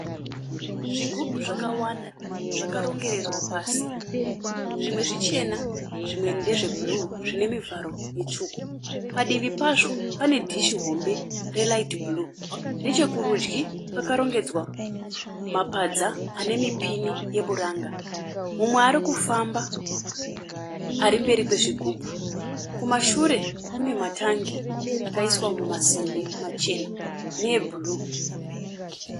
Zigubhu zvakawanda zvakarongererwa pasi. Zvimwe zvichena zvimwe ndezve bhuruu zvinemivharo mutsvuku. Padivi pazvo pane dhishi hombe reraiti bhuruu. Nechekurudyi pakarongedzwa mapadza anemupini weburanga. Mumwe arikufamba arimberi kwezvigubhu. Kumashure kunamatangi akaiswa mumasimbi machena neebhuruu.